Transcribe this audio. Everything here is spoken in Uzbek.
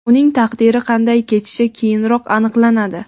Uning taqdiri qanday kechishi keyinroq aniqlanadi.